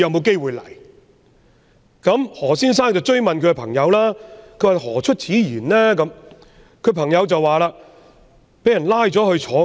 經何先生追問後，他的朋友答道：說不定將來被人逮捕坐牢。